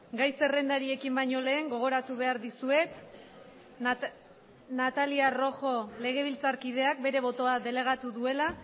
gai zerrendari ekin baino lehen gogoratu behar dizuet natalia rojo legebiltzarkideak bere botoa delegatu duela